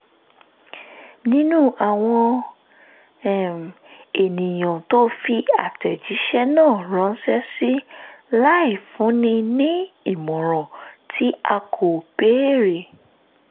nínú àwọn um ènìyàn tó fi àtẹ̀jíṣẹ́ náà ránṣẹ́ sí láì fúnni ní ìmọ̀ràn tí a kò béèrè